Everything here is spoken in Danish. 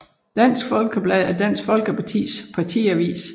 Dansk Folkeblad er Dansk Folkepartis partiavis